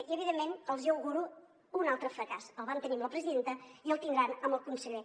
i evidentment els hi auguro un altre fracàs el van tenir amb la presidenta i el tindran amb el conseller